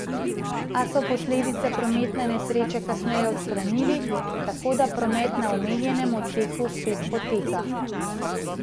A so posledice prometne nesreče kasneje odstranili, tako da promet na omenjenem odseku spet poteka.